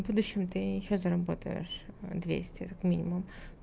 будущем ты ещё сейчас заработаешь двести как минимум